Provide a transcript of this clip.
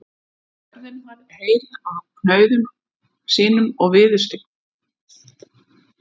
Og jörðin varð heil af kaunum sínum og viðurstyggð.